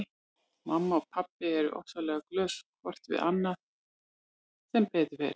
Mamma og pabbi eru ofsalega góð hvort við annað sem betur fer.